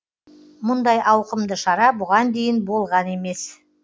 мұндай ауқымды шара бұған дейін болған емес